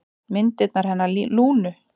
Myndirnar hennar Lúnu.